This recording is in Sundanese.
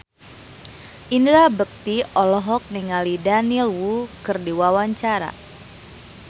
Indra Bekti olohok ningali Daniel Wu keur diwawancara